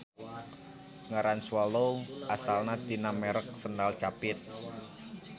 Ngaran swallow asalna tina merek sendal capit.